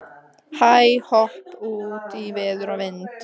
Hæ-hopp út í veður og vind.